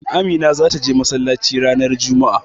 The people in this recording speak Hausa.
Amina zata je masallaci ranar juma'a.